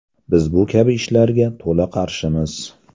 Biz bu kabi ishlarga to‘la qarshimiz.